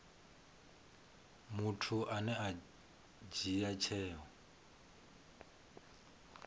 muthu ane a dzhia tsheo